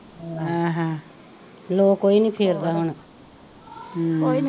ਹੈ ਹੈਂ ਲੋਅ ਕੋਈ ਨਹੀਂ ਫੇਰਦਾ ਹੁਣ ਹੂੰ